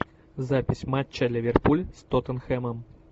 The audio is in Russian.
запись матча ливерпуль с тоттенхэмом